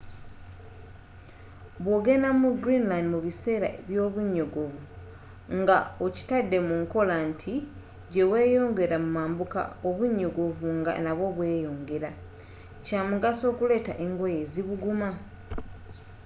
bwogenda mu greenland mu biseera by’obunyogovu nga okitadde mu nkola nti gye weyongera mu mambuka obunyogovu nga nabwo bweyongera kyamugaso okuleeta engoye ezibuguma